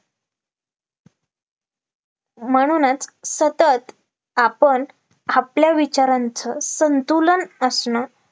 म्हणूनच सतत आपण आपल्या विचारांचं संतुलन असणं